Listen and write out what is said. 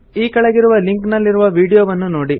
ಈ ಕೆಳಗಿರುವ ಲಿಂಕ್ ನಲ್ಲಿರುವ ವೀಡಿಯೊವನ್ನು ನೋಡಿ